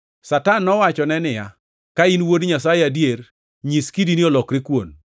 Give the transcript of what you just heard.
Satan nowachone niya, “Ka in Wuod Nyasaye adier, nyis kidini olokre kuon.”